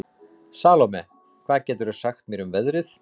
Salome, hvað geturðu sagt mér um veðrið?